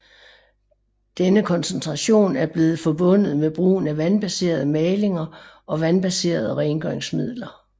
Denne koncentration er blevet forbundet med brugen af vandbaserede malinger og vandbaserede rengøringsmidler